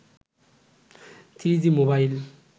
3g mobile